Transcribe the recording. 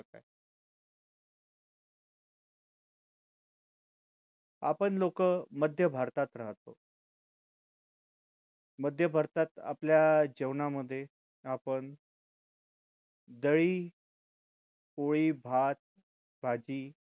आपण लोकं मध्य भारतात राहतो मध्य भारतात आपल्या जेवणा मध्ये आपण दही पोळी भात भाजी